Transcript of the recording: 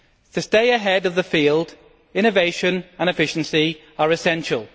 To stay ahead of the field, innovation and efficiency are essential.